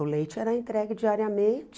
O leite era entregue diariamente